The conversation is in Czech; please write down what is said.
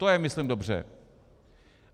To je myslím dobře.